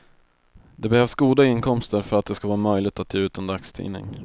Det behövs goda inkomster för att det ska vara möjligt att ge ut en dagstidning.